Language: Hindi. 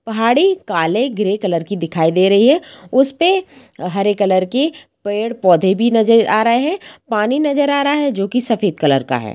पहाड़ी काले ग्रे कलर की दिखाई दे रही है उसपे हरे कलर के पेड़-पौधे भी नज़र आ रहे है पानी नज़र आ रहा है जो कि सफ़ेद कलर का है।